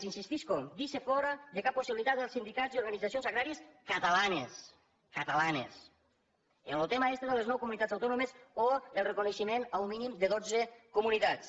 hi insistisc deixa fora de cap possibilitat els sindicats i organitzacions agràries catalans catalans amb lo tema este de les nou comunitats autònomes o el reconeixement a un mínim de dotze comunitats